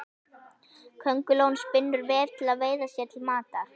Köngulóin spinnur vef til að veiða sér til matar.